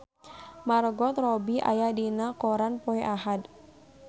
Margot Robbie aya dina koran poe Ahad